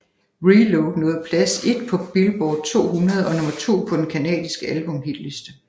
ReLoad nåede plads et på Billboard 200 og nummer to på den canadiske albumhitliste